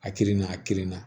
A kirina a kirinna